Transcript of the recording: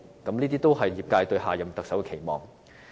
這也是業界對下任特首的期望。